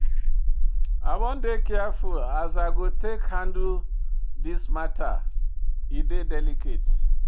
I wan dey careful as I go take handle dis mata, e dey delicate.